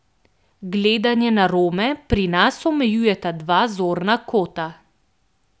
Gledanje na Rome pri nas omejujeta dva zorna kota.